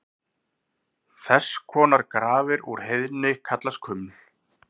Þess konar grafir úr heiðni kallast kuml.